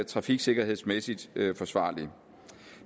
trafiksikkerhedsmæssigt forsvarligt